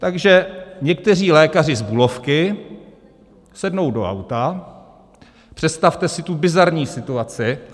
Takže někteří lékaři z Bulovky sednou do auta - představte si tu bizarní situaci.